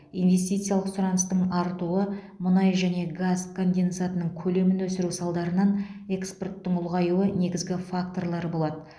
инвестициялық сұраныстың артуы мұнай және газ конденсатының көлемін өсіру салдарынан экспорттың ұлғаюы негізгі факторлар болады